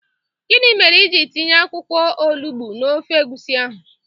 Gini mere ị jiri tinye akwụkwọ olugbu n'ofe egwusi ahụ?